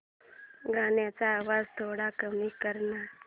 गाण्याचा आवाज थोडा कमी कर ना